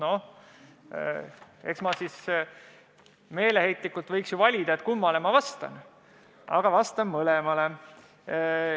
Noh, eks ma võiks meeleheitlikult valida, kummale ma vastan, aga vastan mõlemale.